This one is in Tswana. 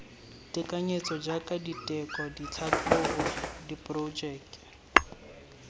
tekanyetso jaaka diteko ditlhatlhobo diporojeke